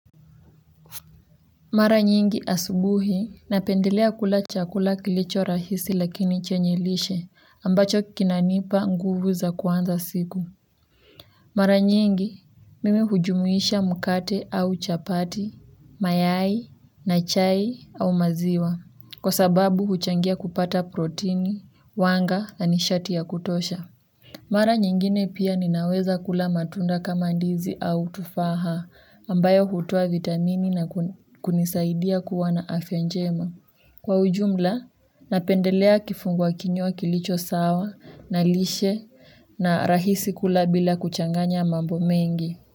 Mara nyingi asubuhi, napendelea kula chakula kilicho rahisi lakini chenye lishe ambacho kinanipa nguvu za kuanza siku mara nyingi, mimi hujumuisha mkate au chapati, mayai, na chai au maziwa, kwa sababu huchangia kupata protini, wanga na nishati ya kutosha. Mara nyingine pia ninaweza kula matunda kama ndizi au tufaha ambayo hutoa vitamini na kunisaidia kuwa na afya njema. Kwa ujumla napendelea kifungwa kinywa kilicho sawa na lishe, na rahisi kula bila kuchanganya mambo mengi.